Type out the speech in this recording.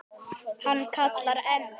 Hann kallar enn.